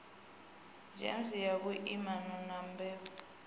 gems ya vhuimana na mbebo